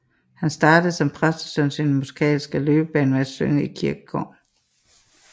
Han startede som præstesøn sin musikalske løbebane med at synge i kirkekor